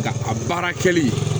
Ka a baara kɛli